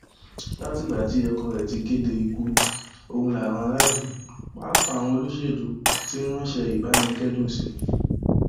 látìgbà tí ọkọ rẹ ti kéde ikú ọhún làwọn aráàlú pàápàá àwọn olóṣèlú ti ń ránṣẹ ìbánikẹdùn sí i